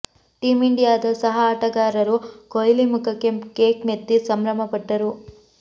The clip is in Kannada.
ಟೀಂ ಇಂಡಿಯಾದ ಸಹ ಆಟಗಾರರು ಕೊಹ್ಲಿ ಮುಖಕ್ಕೆ ಕೇಕ್ ಮೆತ್ತಿ ಸಂಭ್ರಮಪಟ್ಟರು